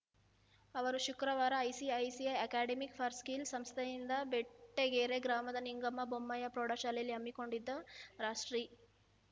ಅವರು ಶುಕ್ರವಾರ ICICI academic for skills ಸಂಸ್ಥೆಯಿಂದ ಬೆಟ್ಟಗೆರೆ ಗ್ರಾಮದ ನಿಂಗಮ್ಮ ಬೊಮ್ಮಯ್ಯ ಪ್ರೌಢಶಾಲೆಯಲ್ಲಿ ಹಮ್ಮಿಕೊಂಡಿದ್ದ ರಾಷ್ಟ್ರೀ